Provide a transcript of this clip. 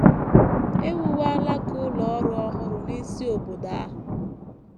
E wuwo alaka ụlọ ọrụ ọhụrụ n’isi obodo ahụ.